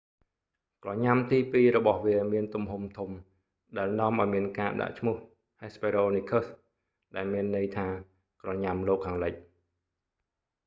ក្រញ៉ាំទីពីររបស់វាមានទំហំធំ ដែលនាំឲ្យមានការដាក់ឈ្មោះ hesperonychus ដែលមានន័យថា ក្រញ៉ាំលោកខាងលិច